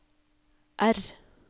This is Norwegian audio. R